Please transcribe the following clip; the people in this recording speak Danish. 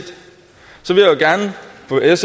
vil jeg